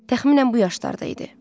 Təxminən bu yaşlarda idi.